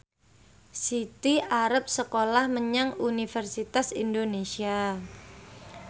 Siti arep sekolah menyang Universitas Indonesia